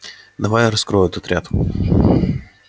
давай я раскрою этот ряд